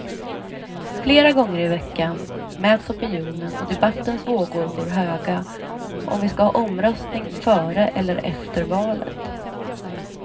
Flera gånger i veckan mäts opinionen och debattens vågor går höga om vi skall ha omröstningen före eller efter valet.